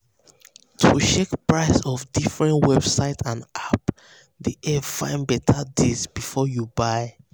to check price for different websites and apps dey help find better deal before you buy.